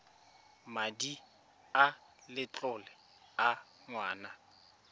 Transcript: madi a letlole a ngwana